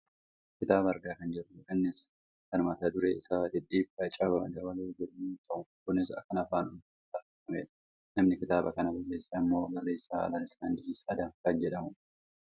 kitaaba argaa kan jirrudha innias kan mata dureen isaa " dhidhiibbaa caba dabaloo" jedhu yoo ta'u kunis kan afaan oromoon barreeffamedha. namni ktaaba kana barreesse ammoo barreessaa Lalisaa Indiriis Adam kan jedhamudha.